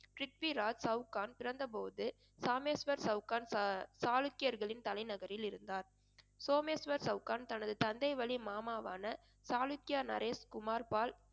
பிரித்விராஜ் சவுகான் பிறந்தபோது சாமேஸ்வர் சவுகான் சா~ சாளுக்கியர்களின் தலைநகரில் இருந்தார். சோமேஸ்வர் சவுகான் தனது தந்தை வழி மாமாவான சாளுக்கிய நரேஷ் குமார் பால்